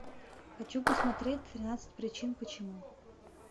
хочу посмотреть тринадцать причин почему